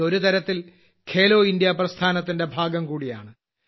ഇത് ഒരു തരത്തിൽ ഖേലോ ഇന്ത്യ പ്രസ്ഥാനത്തിന്റെ ഭാഗം കൂടിയാണ്